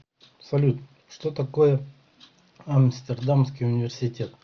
салют что такое амстердамский университет